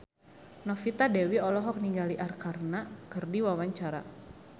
Novita Dewi olohok ningali Arkarna keur diwawancara